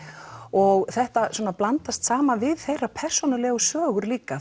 og þetta blandast saman við þeirra persónulegu sögur líka